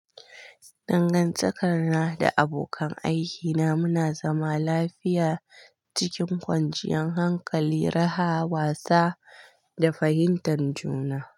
Dangantakar na da abokan aikina muna zama lafiya cikin kwanciyar hankali, raha, wasa da fahimtar juna.